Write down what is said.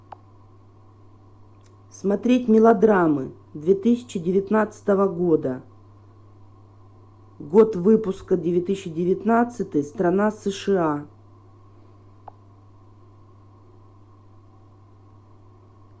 смотреть мелодрамы две тысячи девятнадцатого года год выпуска две тысячи девятнадцатый страна сша